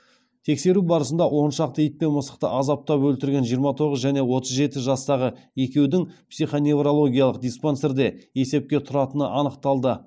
тексеру барысында он шақты ит пен мысықты азаптап өлтірген жиырма тоғыз және отыз жеті жастағы екеудің психоневрологиялық диспансерде есепте тұратыны анықталды